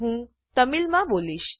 હું તમિળમાં બોલીશ